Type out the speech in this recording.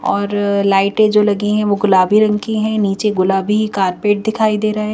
और लाइटे जो लगी है वो गुलाबी रंग की है नीचे गुलाबी कारपेट दिखाई दे रहे--